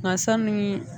Nka sanni